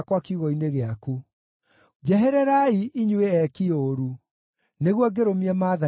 Njehererai, inyuĩ eeki ũũru, nĩguo ngĩrũmie maathani ma Ngai wakwa!